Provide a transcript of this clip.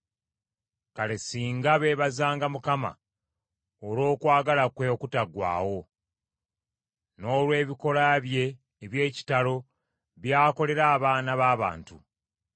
Kale singa beebazanga Mukama olw’okwagala kwe okutaggwaawo, n’olwebikolwa bye eby’ekitalo by’akolera abaana b’abantu!